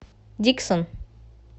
диксон